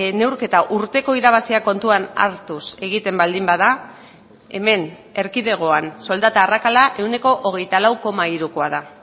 neurketa urteko irabaziak kontuan hartuz egiten baldin bada hemen erkidegoan soldata arrakala ehuneko hogeita lau koma hirukoa da